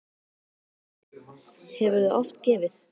Viktoría: Hefurðu oft gefið?